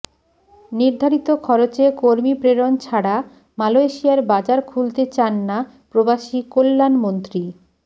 নির্ধারিত খরচে কর্মী প্রেরণ ছাড়া মালয়েশিয়ার বাজার খুলতে চান না প্রবাসী কল্যাণমন্ত্রী